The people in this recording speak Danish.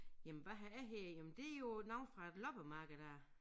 Jamen hvad har jeg her jamen det jo noget fra et loppemarked af